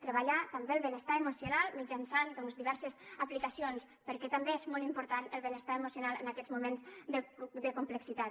treballar també el benestar emocional mitjançant doncs diverses aplicacions perquè també és molt important el benestar emocional en aquests moments de complexitat